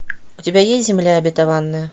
у тебя есть земля обетованная